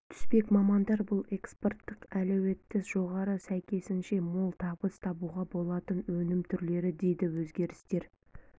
түспек мамандар бұл экспорттық әлеуеті жоғары сәйкесінше мол табыс табуға болатын өнім түрлері дейді өзгерістер